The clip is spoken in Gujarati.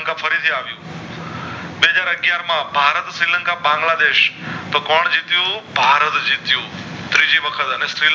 માં ભારત શ્રી લંકા બાંગ્લાદેશ તો કોણ જીત્યું ભારત જીત્યું ત્રીજી વખત અને શ્રીલંકા